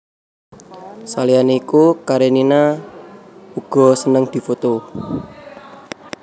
Saliyané iku Karenina uga seneng difoto